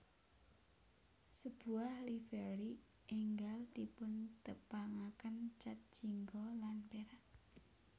Sebuah livery enggal dipuntepangaken cat jingga lan perak